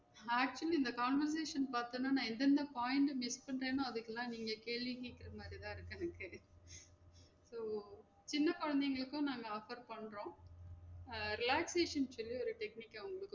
Maximum இந்த combination பாத்தோம்னா நா எதுவுமே point அ miss பண்றனோ அதுக்குலாம் நீங்க கேள்வி கேக்குற மாதிரி தான் இருக்கு எனக்கு உம் சின்ன கொழந்தைங்களுக்கும் நாங்க offer பண்றோம் அஹ் relaxation சொல்லி ஒரு technique க்க வந்து